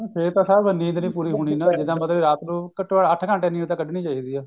ਫੇਰ ਤਾਂ ਸਾਹਬ ਨੀਂਦ ਨਹੀਂ ਪੂਰੀ ਹੋਣੀ ਇਹਦਾ ਮਤਲਬ ਰਾਤ ਨੂੰ ਘੱਟੋ ਘੱਟ ਅੱਠ ਘੰਟੇ ਦੀ ਨੀਂਦ ਤਾਂ ਕੱਢਨੀ ਚਾਹੀਦੀ ਹੈ